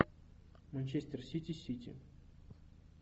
манчестер сити сити